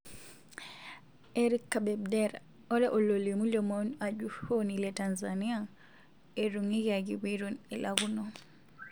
Erick Kabebdera:Ore ololimu lomon ajuroni le Tanzania etunguikiaki peton elakuno.